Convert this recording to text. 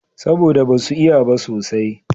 Saboda da ba su iya ba sosai